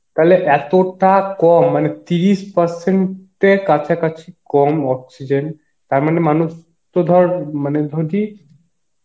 তাহলে এতটা কম মানে তিরিশ percent এর কাছা কাছি কম oxygen, তার মানে মানুষ তো ধর যদি